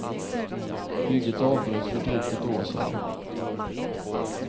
Bygget avbröts för drygt ett år sedan.